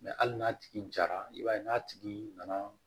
hali n'a tigi jara i b'a ye n'a tigi nana